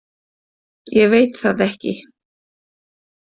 ég veit það ekki.